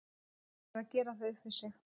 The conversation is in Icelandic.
Maður þarf að gera það upp við sig.